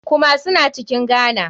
Kumasi na cikin ghana.